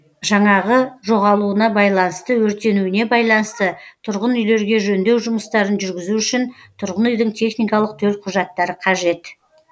жаңағы жоғалуына байланысты өртенуіне байланысты тұрғын үйлерге жөндеу жұмыстарын жүргізу үшін тұрғын үйдің техникалық төлқұжаттары қажет